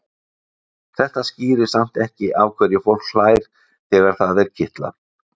Þetta skýrir samt ekki af hverju fólk hlær þegar það er kitlað.